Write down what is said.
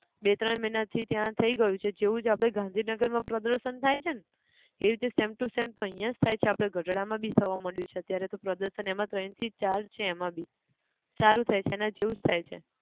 બે ત્રણ મહિના થી ત્યાં થઇ ગયું છે જેવું જ આપણે ગાંધીનગર માં પ્રદર્શન થાય છે ન! એવી રીતે same to same અહીંયા જ થાય છે ગઢડા માં બી થવા માંડયું છે અત્યારે તો પ્રદર્શન ને એમાં તો એનથી ચાર છે એમાંબી, સારું થાય છે એના જેવું જ થાય છે